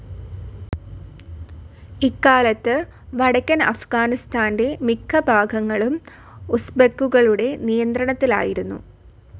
ഇക്കാലത്ത് വടക്കൻ അഫ്ഹ്ഗാനിസ്താന്റെ മിക്ക ഭാഗങ്ങൾഊം ഉസ്ബെക്കുകളുടെ നിയന്ത്രണത്തിലായിരുന്നു.